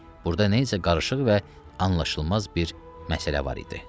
Burada nə isə qarışıq və anlaşılmaz bir məsələ var idi.